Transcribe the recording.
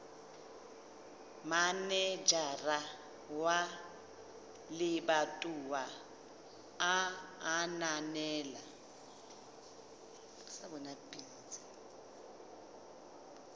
manejara wa lebatowa a ananela